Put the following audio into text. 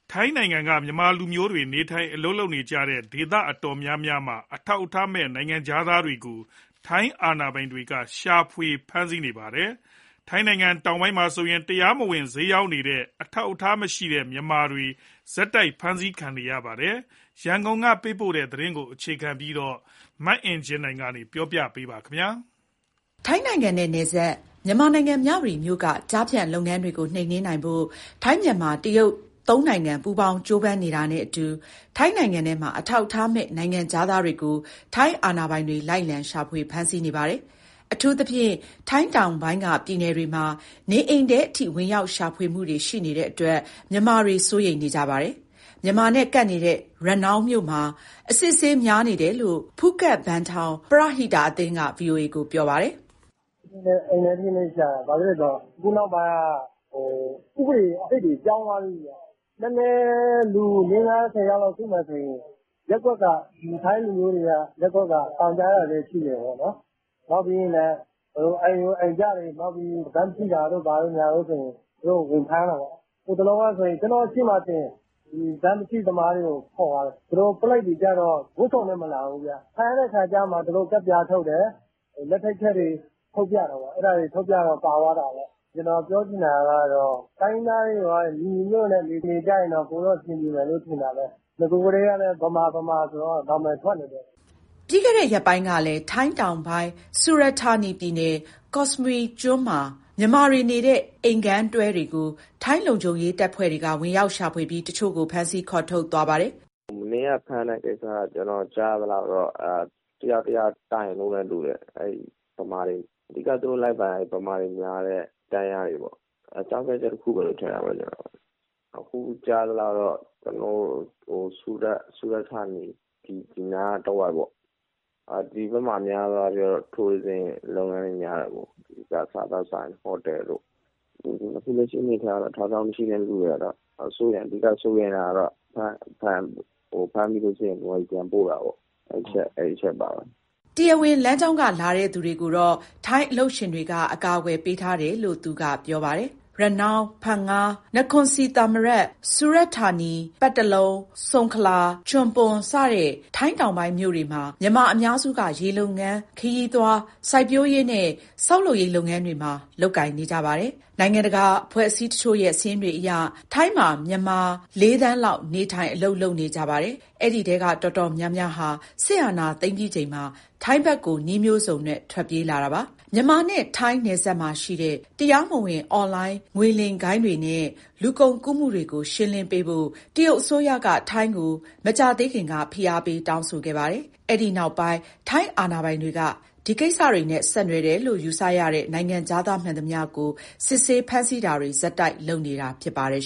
ထိုင်းနိုင်ငံက မြန်မာလူမျိုးတွေ နေထိုင်အလုပ်လုပ်နေကြတဲ့ ဒေသတော်တော်များများမှာ အထောက်အထားမဲ့ နိုင်ငံခြားသားတွေကို ထိုင်းအာဏာပိုင်တွေ လိုက်လံရှာဖွေ ဖမ်းဆီးနေပါတယ်။ ထိုင်းတောင်ပိုင်းမှာဆိုရင် တရားမဝင်ဈေးရောင်းနေကြတဲ့ အထောက်အထားမရှိတဲ့ မြန်မာတွေ ဆက်တိုက်ဖမ်းဆီးခံနေရပါတယ်။ ရန်ကုန်ကပေးပို့တဲ့သတင်းကို အခြေခံပြီး တင်ပြထားပါတယ်။ ထိုင်းနိုင်ငံနဲ့ နယ်စပ် မြန်မာနိုင်ငံ မြဝတီမြို့က ကျားဖြန့်လုပ်ငန်းတွေကိုနှိမ်နင်းနိုင်ဖို့ ထိုင်း၊ မြန်မာ၊ တရုတ် သုံးနိုင်ငံပေါင်း ကြိုးပမ်းနေတာနဲ့အတူ ထိုင်းနိုင်ငံထဲမှာ အထောက်အထားမဲ့ နိုင်ငံခြားသား တွေကို ထိုင်းအာဏာပိုင်တွေ လိုက်လံရှာဖွေ ဖမ်းဆီးနေပါတယ်။ အထူးသဖြင့် ထိုင်းတောင်ပိုင်းက ပြည်နယ်တွေမှာ နေအိမ်ထဲအထိ ဝင်ရောက် ရှာဖွေမှုတွေရှိနေတဲ့အတွက် မြန်မာတွေ စိုးရိမ်နေကြပါတယ်။ မြန်မာနဲ့ကပ်နေတဲ့ ရနောင်းမြို့မှာ အစစ်အဆေးများနေတယ်လို့ ဖူးခက်ဘန်ထောင် ပရဟိတအသင်းက ဗွီအိုအေကို ပြောပြပါတယ်။ "အိမ်ထဲထိရှာတာ။ ဘာလို့ဆို အခုနောက်ပိုင်းက ဥပဒေသစ်တွေ ပြောင်းသွားပြီဗျ။ နည်းနည်း လူ ၄-၅-၁၀ ယောက်စုမယ်ဆိုရင် ရပ်ကွက်က ထိုင်းလူမျိုးတွေက တိုင်ကြားတာလည်း ရှိတယ်ပေါ့။ နောက်ပြီး အိမ်ကြို အိမ်ကြားတွေ၊ နောက်ပြီး (အထောက်အထား) ဘတ်မရှိတာတို့ ဘာတို့ဆို သူတို့ ဝင်ဖမ်းတာ ပေါ့။ ဟိုတလောက ကျနော့်ရှေ့မှာတင် ဘတ်မရှိသမားတွေကို ခေါ်သွားတယ်။ သူတို့ ပုလိပ်တွေကျ ဝတ်စုံနဲ့မလာဘူး။ ဖမ်းတဲ့အခါမှ သူတို့ ကတ်ပြားထုတ်တယ်၊ လက်ထိပ်ခတ်တွေ ထုတ်ပြတာပေါ့။ အဲဒါ ထုတ်ပြတော့ ပါသွားတာပေါ့။ ကျနော်ပြောချင်တာက တိုင်းရင်းသားတွေ ညီညီညွတ်ညွတ်နဲ့ နေကြရင် ပိုပြီး အဆင်ပြေမယ်လို့ ထင်တာပဲ။ နဂိုကတည်းက ဗမာ၊ ဗမာဆိုပြီး နာမည်ထွက်နေတယ်။" ပြီးခဲ့တဲ့ရက်ပိုင်းကလည်း ထိုင်းတောင်ပိုင်း ဆူရတ်ဌာနီပြည်နယ်၊ ကော့စမွီကျွန်းမှာ မြန်မာတွေနေတဲ့ အိမ်ခန်းတွဲတွေကို ထိုင်းလုံခြုံရေး တပ်ဖွဲ့တွေက ဝင်ရောက်ရှာဖွေပြီး တချို့ကို ဖမ်းဆီးခေါ်ထုတ်သွားပါတယ်။ "မနေ့ကဖမ်းတဲ့ကိစ္စက ကျနော်ကြားရသလောက်တော့ တယောက်ယောက်တိုင်လို့နဲ့တူတယ်။ အဓိက သူတို့လိုက်ဖမ်းရင် ဗမာတွေများတဲ့ တန်းလျားတွေပေါ့။ အကြောင်းပြချက် တခုလို့ပဲ ထင်တာပဲ။ အခုကြားရသလောက် ဆူရတ်ဌာနီ ဒီနားတဝိုက်ပေါ့။ ဒီဘက်မှာ အများစုက ခရီးသွားလုပ်ငန်းတွေ များတယ်ပေါ့။ စားသောက်ဆိုင်၊ ဟိုတယ်တို့။ အခုလက်ရှိအနေအထားရတော့ အထောက်အထား မရှိတဲ့သူတွေကတော့ အဓိက စိုးရိမ်ရတာကတော့ ဖမ်းမိလို့ရှိရင် မြန်မာပြည် ပြန်ပို့တာပေါ့။" တရားဝင်လမ်းကြောင်းက လာတဲ့သူတွေကိုတော့ ထိုင်းအလုပ်ရှင်တွေက အကာအကွယ်ပေးထား တယ်လို့ သူကပြောပါတယ်။ ရနောင်း၊ ဖန်င၊ နခွန်ဆီသာမရတ်၊ ဆူရတ်ဌာနီ (ကော့စမွီကျွန်း)၊ ပတ်တလုံ၊ စုံခလာ၊ ချွန်ပွန် စတဲ့ ထိုင်းတောင်ပိုင်းမြို့တွေမှာ မြန်မာအများစုက ရေလုပ်ငန်း၊ ခရီးသွား၊ စိုက်ပျိုးရေးနဲ့ ဆောက်လုပ်ရေး လုပ်ငန်းတွေကို လုပ်ကြပါတယ်။ နိုင်ငံတကာ အဖွဲ့အစည်းတချို့ရဲ့ စာရင်းတွေအရ ထိုင်းမှာ မြန်မာ ၄ သန်းလောက် နေထိုင်၊ အလုပ်လုပ်နေကြပါတယ်။ အဲဒီထဲက တော်တော်များများဟာ စစ်အာဏာသိမ်းပြီး ချိန်မှာ ထိုင်းဘက်ကို နည်းမျိုးစုံနဲ့ ထွက်ပြေးလာတာပါ။ မြန်မာနဲ့ ထိုင်းနယ်စပ်မှာရှိတဲ့ တရားမဝင်အွန်လိုင်း ငွေလိမ်ဂိုဏ်းတွေနဲ့ လူကုန်ကူးမှုတွေကို ရှင်းလင်း ပေးဖို့ တရုတ်အစိုးရက ထိုင်းကို မကြာသေးခင်က ဖိအားပေး တောင်းဆိုခဲ့ပါတယ်။ အဲဒီနောက်ပိုင်း ထိုင်းအာဏာပိုင်တွေက ဒီကိစ္စတွေနဲ့ ဆက်နွယ်တယ်လို့ ယူဆရတဲ့ နိုင်ငံခြားသားမှန်သမျှကို စစ်ဆေး ဖမ်းဆီးတာတွေ ဆက်တိုက်လုပ်နေတာ ဖြစ်ပါတယ်